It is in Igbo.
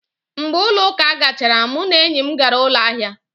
Mgbe ụlọ ụka gachara, mụ na enyi m gara ụlọ ahịa